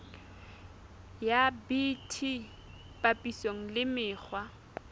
ya bt papisong le mekgwa